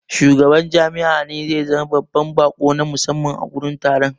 Shugaban jami'a ne zai zama babban baƙo na musamman a gurin taron.